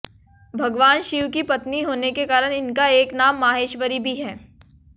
भगवान शिव की पत्नी होने के कारण इनका एक नाम माहेश्वरी भी है